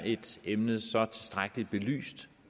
emnet så tilstrækkeligt belyst